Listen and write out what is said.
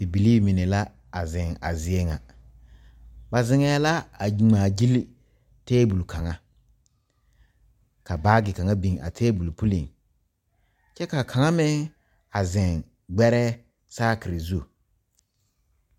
Bibilii mine la a zeŋ a zie ŋa ba zeŋɛɛ la a ngmaagyile tabol kaŋa ka baagi kaŋa biŋ a tabol puliŋ kyɛ ka kaŋa meŋ zeŋ gbɛrɛɛ saakire zu.